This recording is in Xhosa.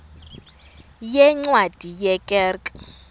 yeencwadi ye kerk